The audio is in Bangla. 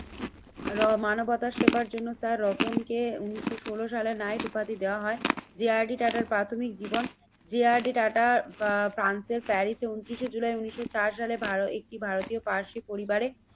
র মানবতার সেবার জন্য তার রতনকে উন্নিশশো ষোলো সালে নাইট উপাধি দেওয়া হয়। যে আর ডি টাটার প্রাথমিক জীবন যে আর ডি টাটা বা ফ্রান্সের প্যারিসে ঊনত্রিশে জুলাই উন্নিশশো চার সালে ভারতীয় পার্সি পরিবারে